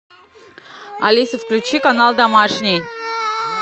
алиса включи канал домашний